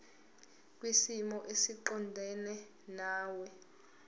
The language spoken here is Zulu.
kwisimo esiqondena nawe